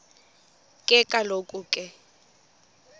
ke kaloku ke